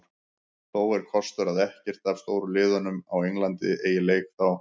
Þó er kostur að ekkert af stóru liðunum á Englandi eiga leik þá.